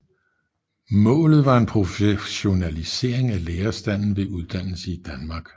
Målet var en professionalisering af lærerstanden ved uddannelse i Danmark